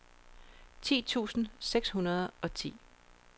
ti tusind seks hundrede og ti